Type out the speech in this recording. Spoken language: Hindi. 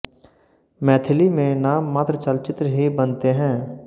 मैथिली में नाम मात्र चलचित्र ही बनते हैं